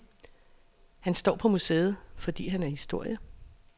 Han står på museet, fordi han er historie.